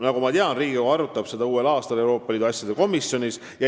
Nagu ma tean, Riigikogu arutab seda uuel aastal Euroopa Liidu asjade komisjonis.